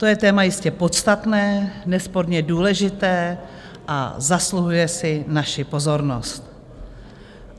To je téma jistě podstatné, nesporně důležité a zasluhuje si naši pozornost.